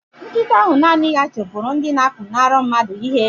Nkịta ahụ naanị ya chụpụrụ ndị na-apụnara mmadụ ihe